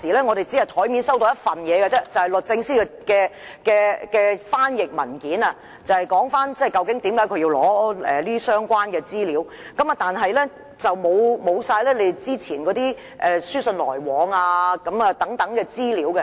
我們最初只收到一份文件，即律政司來函的翻譯本，提述為何署方要求索取相關資料，但當時議員沒有雙方之前書信往來的資料。